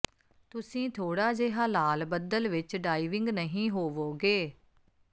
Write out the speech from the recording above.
ਤੁਸੀਂ ਥੋੜਾ ਜਿਹਾ ਲਾਲ ਬੱਦਲ ਵਿੱਚ ਡਾਇਵਿੰਗ ਨਹੀਂ ਹੋਵੋਗੇ